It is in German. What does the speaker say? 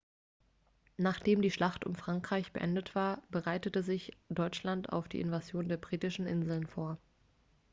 nachdem die schlacht um frankreich beendet war bereitete sich deutschland auf die invasion der britischen insel vor